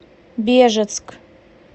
бежецк